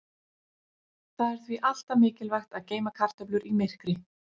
Það er því alltaf mikilvægt að geyma kartöflur í myrkri.